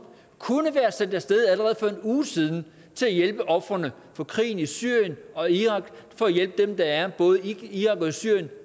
kunne være sendt af sted allerede for en uge siden til hjælp for ofrene for krigen i syrien og irak og for at hjælpe dem der er både i irak syrien